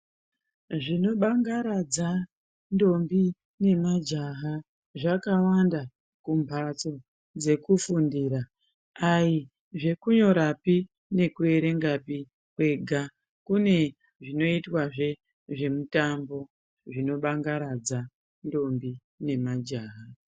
Zvinobangaradza ntombi nemajaha zvakawanda kumbatso dzekufundira. Ayizvekunyorapi nekuerenga kwega, kune zvinoitwazve zvemitambo zvinobangaradza ntombi nemajaha.